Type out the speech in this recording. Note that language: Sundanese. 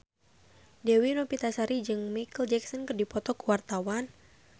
Dewi Novitasari jeung Micheal Jackson keur dipoto ku wartawan